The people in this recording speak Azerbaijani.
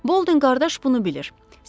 Boldin qardaş bunu bilir.